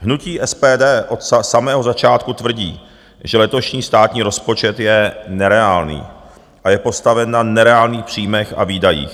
Hnutí SPD od samého začátku tvrdí, že letošní státní rozpočet je nereálný a je postaven na nereálných příjmech a výdajích.